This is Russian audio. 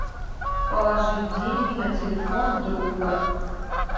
положить деньги на телефон друга